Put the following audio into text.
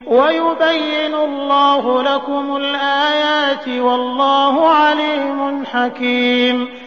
وَيُبَيِّنُ اللَّهُ لَكُمُ الْآيَاتِ ۚ وَاللَّهُ عَلِيمٌ حَكِيمٌ